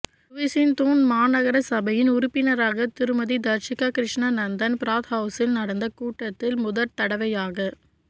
சுவிசின் Thun மாநகர சபையின் உறுப்பினராக திருமதி தர்ஷிகா கிருஸ்னாநந்தன் பிராத்ஹவுசில் நடந்த கூட்டத்தில் முதற் தடவையாக